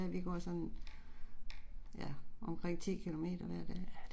Vi går sådan, ja, omkring 10 kilometer hver dag